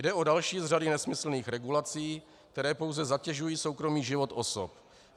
Jde o další z řady nesmyslných regulací, které pouze zatěžují soukromý život osob.